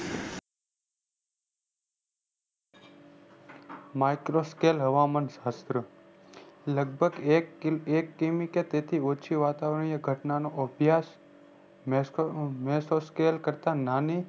micro scale હવામાન શાસ્ત્ર લગભગ એક કિમી કેતેથી ઓછી વાતાવરણીય ઘટનાનો અભ્યાસ micro scale કરતા નાની